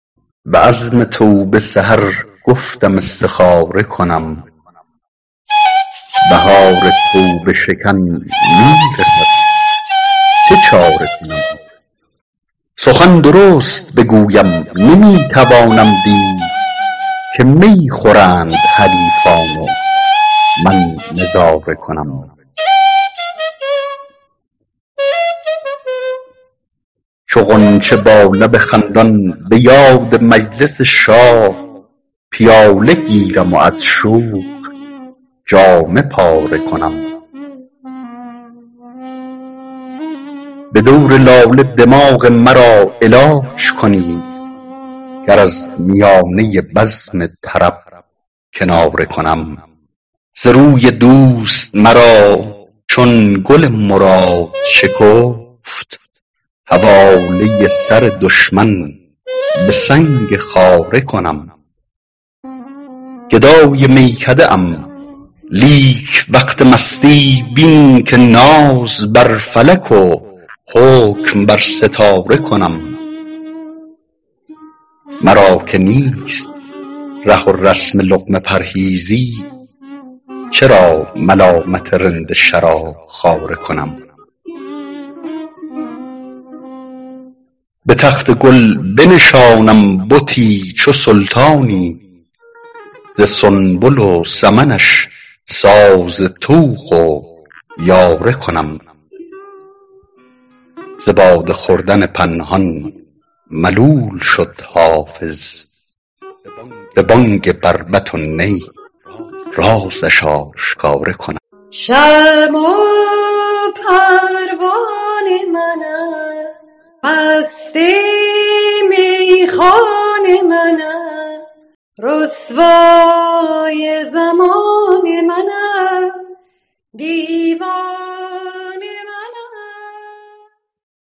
به عزم توبه سحر گفتم استخاره کنم بهار توبه شکن می رسد چه چاره کنم سخن درست بگویم نمی توانم دید که می خورند حریفان و من نظاره کنم چو غنچه با لب خندان به یاد مجلس شاه پیاله گیرم و از شوق جامه پاره کنم به دور لاله دماغ مرا علاج کنید گر از میانه بزم طرب کناره کنم ز روی دوست مرا چون گل مراد شکفت حواله سر دشمن به سنگ خاره کنم گدای میکده ام لیک وقت مستی بین که ناز بر فلک و حکم بر ستاره کنم مرا که نیست ره و رسم لقمه پرهیزی چرا ملامت رند شراب خواره کنم به تخت گل بنشانم بتی چو سلطانی ز سنبل و سمنش ساز طوق و یاره کنم ز باده خوردن پنهان ملول شد حافظ به بانگ بربط و نی رازش آشکاره کنم